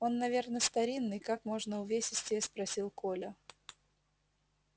он наверно старинный как можно увесистее спросил коля